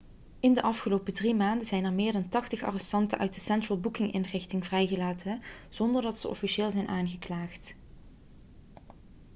in de afgelopen 3 maanden zijn er meer dan 80 arrestanten uit de central booking-inrichting vrijgelaten zonder dat ze officieel zijn aangeklaagd